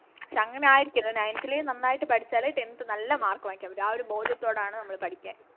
പക്ഷെ അങ്ങനെ ആയിരിക്കരുത് Nineth ലെയും നന്നായിട്ട് പഠിച്ചാലേ Tenth നല്ല Mark വാങ്ങിക്കാൻ പറ്റു ആ ഒര് ബോധ്യത്തോടെയാണ് നമ്മള് പഠിക്കാൻ